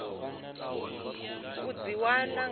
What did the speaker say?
u dzi wana nga nḓila